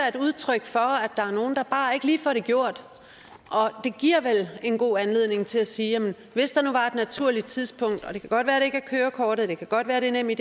et udtryk for at der er nogle der bare ikke lige får det gjort det giver vel en god anledning til at sige at hvis der nu var et naturligt tidspunkt og det kan godt være at det ikke er kørekortet det kan godt være at det er nemid